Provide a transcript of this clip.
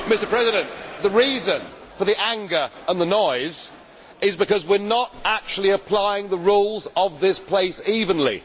Mr President, the reason for the anger and the noise is because we are not actually applying the rules of this place evenly.